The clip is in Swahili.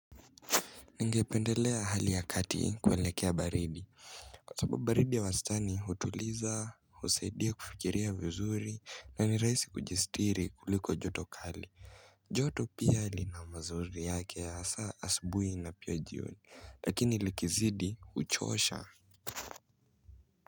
Ningependelea hali ya kati kuelekea baridi. Kwa sababu baridi ya wastani hutuliza husaidia kufikiria vizuri na ni rahisi kujistiri kuliko joto kali. Joto pia lina mazuri yake ya hasa asubuhi na pia jioni, lakini likizidi huchosha.